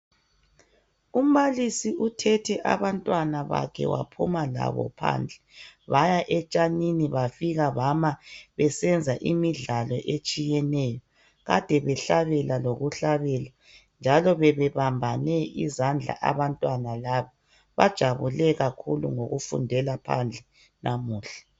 Umbalisi uthethe abantwana bakhe waphuma labo phandle baya etshanini bafika bama besenza imidlalo etshiyeneyo. Kade behlabela lokuhlabela njalo bebebambane izandla abantwana laba bajabule kakhulu ngokufundela phandle namuhla.